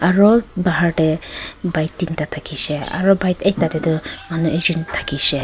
aro bahar de bike dinta dakishae aro bike ekta de tu manu ekjun dakishae.